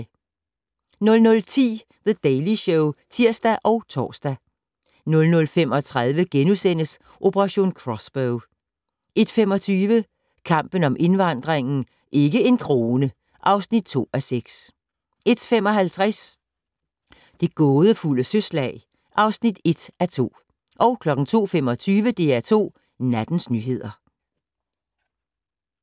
00:10: The Daily Show (tir og tor) 00:35: Operation Crossbow * 01:25: Kampen om indvandringen - "Ikke en krone!" (2:6) 01:55: Det gådefulde søslag (1:2) 02:25: DR2 Nattens nyheder